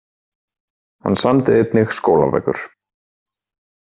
Hann samdi einnig skólabækur.